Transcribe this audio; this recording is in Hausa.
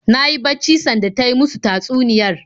Na yi bacci sanda ta yi musu tatsuniyar